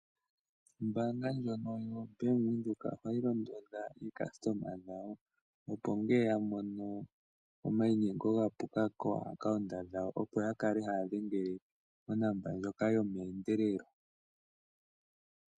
Ombaanga ndjono yoBank Windhoek ohayi londodha aayakulwa yawo, opo ngele ya mono omainyengo ga puka komayalulilo gawo goombaanga opo ya kale haya dhenge onomola ndjoka yomeendelelo.